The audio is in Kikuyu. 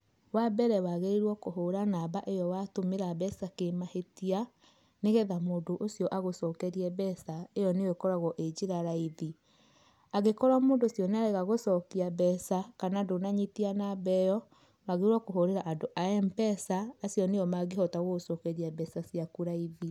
Wa mbere wagĩrĩĩrwo kũhũra namba ĩyo watũmĩra mbeca kĩmahĩtia, nĩgetha mũndũ ũcĩo agũcokerĩe mbeca ĩyo nĩyo ĩkoragwo ĩĩ njĩra raĩthĩ. Angĩkorwo mũndũ ũcĩo nĩarega gũcokĩa mbeca kana ndũnanyĩtĩa namba ĩyo, wagĩrĩĩrwo kũhũrĩra andũ a Mpesa, acĩo nĩo mangĩhota gũgũcokerĩa mbeca cĩaku raĩthĩ.